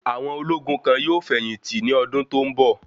Àwọn ológun kan yóò fẹ̀yìn tì ní ọdún tó ń bọ̀.